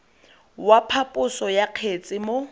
wa phaposo ya kgetse mo